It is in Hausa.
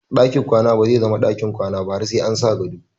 Ɗakin kwana bazai zama ɗakin kwana ba har sa an sa gado.